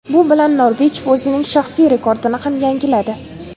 Bu bilan Norbekov o‘zining shaxsiy rekordini ham yangiladi.